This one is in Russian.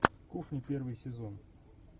кухня первый сезон